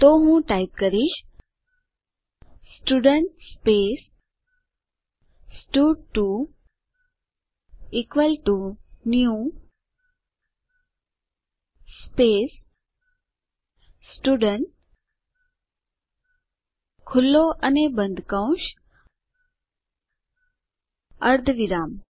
તો હું ટાઈપ કરીશ સ્ટુડન્ટ સ્પેસ સ્ટડ2 equal to new space student ખુલ્લો અને બંધ કૌંસ અર્ધવિરામ